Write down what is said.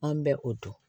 An bɛ o dun